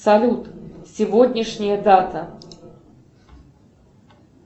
салют сегодняшняя дата